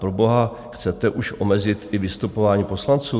Proboha chcete už omezit i vystupování poslanců?